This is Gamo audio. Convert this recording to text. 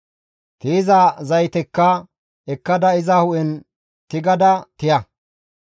Tiyiza zaytekka ekkada iza hu7en tigada tiya.